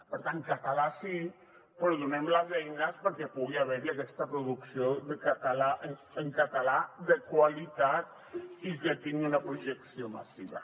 per tant català sí però donem les eines perquè pugui haver hi aquesta producció en català de qualitat i que tingui una projecció massiva